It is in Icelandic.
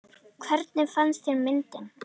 Hvernig fannst þér myndin?